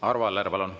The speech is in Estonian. Arvo Aller, palun!